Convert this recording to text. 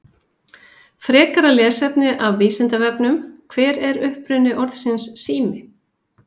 Frekara lesefni af Vísindavefnum: Hver er uppruni orðsins sími?